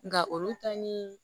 Nka olu ta ni